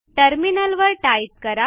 टर्मिनलवर टाईप करा